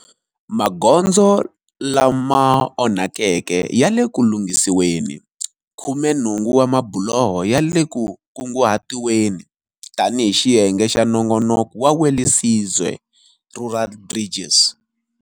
Magondzo lama onhakeke ya le ku lunghisiweni. Khumenhungu wa mabuloho ya kunguhatiwile tanihi xiyenge xa nongonoko wa Welisizwe Rural Bridges.